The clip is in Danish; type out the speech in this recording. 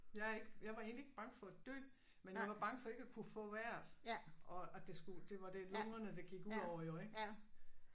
Jeg er ikke jeg var egentlig ikke bange for at dø men jeg var bange for ikke at kunne få vejret og og det skulle det var det lungerne det gik udover ik